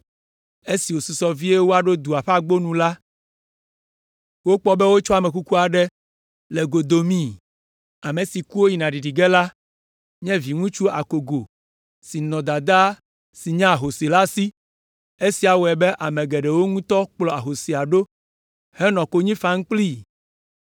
Esi wòsusɔ vie woaɖo dua ƒe agbo nu la, wokpɔ be wotsɔ ame kuku aɖe le go domi. Ame si ku woyina ɖiɖi ge la nye viŋutsu akogo si nɔ dadaa si nye ahosi la si. Esia wɔe be ame geɖewo ŋutɔ kplɔ ahosia ɖo henɔ konyi fam kplii.